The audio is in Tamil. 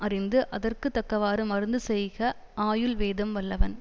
அறிந்து அதற்குத்தக்கவாறு மருந்து செய்க ஆயுள் வேதம் வல்லவன்